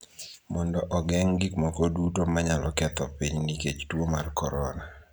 mondo ogeng� gik moko duto ma nyalo ketho piny nikech tuo mar korona.